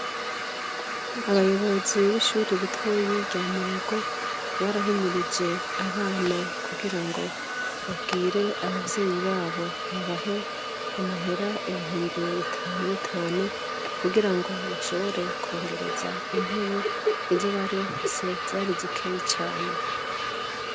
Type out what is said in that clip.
Abayobozi b'ishure ritoya rya murago barahimirije abana kugirango babwire abavyeyi babo babahe amahera ibihumbi bitanu bitanu kugirango bashobore kongereza intebe izo bari bafise zari zikeyi cane.